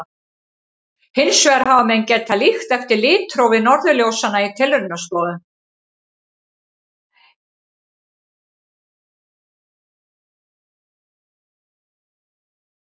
Hins vegar hafa menn getað líkt eftir litrófi norðurljósanna í tilraunastofum.